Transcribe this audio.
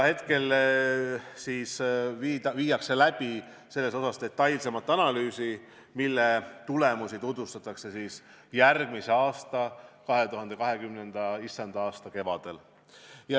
Praegu tehakse detailsemat analüüsi, mille tulemusi tutvustatakse järgmise aasta, issanda aasta 2020 kevadel.